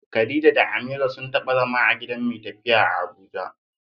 Khadija da Amira sun taba zama a gidan mai tafiya a Abuja.